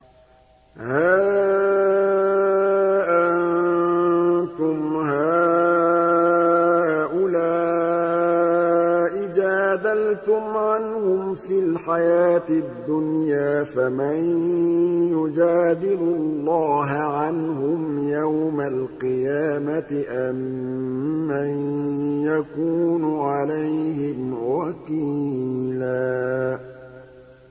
هَا أَنتُمْ هَٰؤُلَاءِ جَادَلْتُمْ عَنْهُمْ فِي الْحَيَاةِ الدُّنْيَا فَمَن يُجَادِلُ اللَّهَ عَنْهُمْ يَوْمَ الْقِيَامَةِ أَم مَّن يَكُونُ عَلَيْهِمْ وَكِيلًا